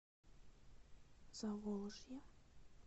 заволжье